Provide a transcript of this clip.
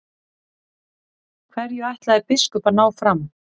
Hverju ætlaði biskup að ná fram?